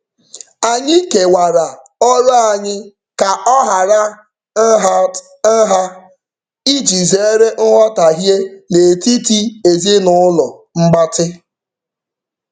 Anyị kewara ọrụ anyị ka ọ hara nhatnha iji zeere nghọtaghie n'etiti ezinụụlọ mgbatị.